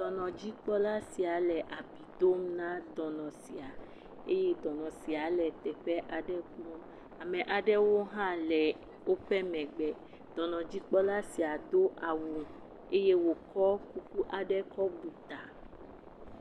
Dɔnɔdzikpɔla sia le abi dom na dɔnɔ sia eye dɔnɔsia le teƒe aɖe kum. Ame aɖewo hã le woƒe megbe. Dɔnɔdzikpɔla sia do awu eye wokɔ kuku aɖe kɔ bu ta.